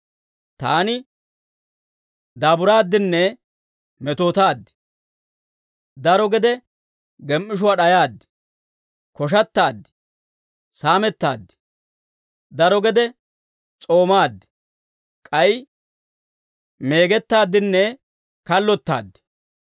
Taani daaburaaddinne metootaad. Daro gede gem"ishuwaa d'ayaad; koshattaad; saamettaaddi. Daro gede s'oomaad; k'ay meegettaaddinne kallottaad.